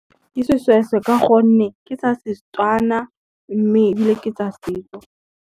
Ke seshweshwe ka gonne ke tsa Setswana, mme ebile ke tsa setso.